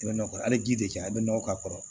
I bɛ nɔkɔ hali ji de cɛ a bɛ nɔgɔ k'a kɔrɔ